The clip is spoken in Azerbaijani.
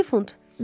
12 funt.